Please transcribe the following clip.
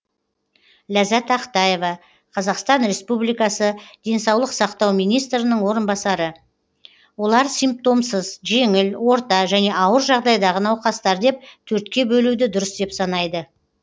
ләззат ақтаева қазақстан республикасы денсаулық сақтау министрінің орынбасары олар симптомсыз жеңіл орта және ауыр жағдайдағы науқастар деп төртке бөлуді дұрыс деп санайды